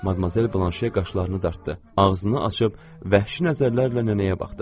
Madmazel Blanşe qaşlarını dartdı, ağzını açıb vəhşi nəzərlərlə nənəyə baxdı.